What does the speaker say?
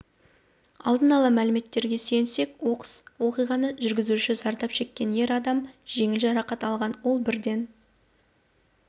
алдын ала мәліметтерге сүйенсек оқыс оқиғадан жүргізушісі зардап шеккен ер адам жеңіл жарақат алған ол бірден